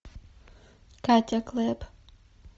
катя клэп